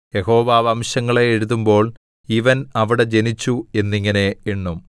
യഹോവ വംശങ്ങളെ എഴുതുമ്പോൾ ഇവൻ അവിടെ ജനിച്ചു എന്നിങ്ങനെ എണ്ണും സേലാ